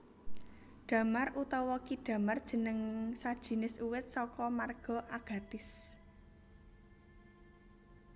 Damar utawa ki damar jeneng sajinis uwit saka marga Agathis